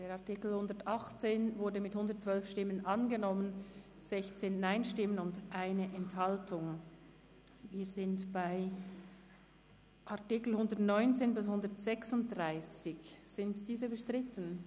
Der Artikel 118 ist mit 112 Ja-Stimmen angenommen worden, gegenüber 16 NeinStimmen und 1 Enthaltung.